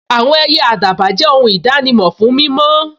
Àwọn ẹyẹ àdàbà jẹ́ ohun ìdánimọ̀ fún mímọ́